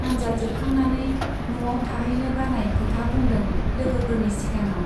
आन्जाद जोबखांनानै न'आव थाहैनो बानाय खोथा बुंदों लोगोफोरनि सिगाङाव।